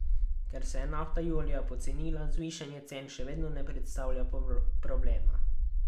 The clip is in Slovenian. Ker se je nafta julija pocenila, zvišanje cen še vedno ne predstavlja problema.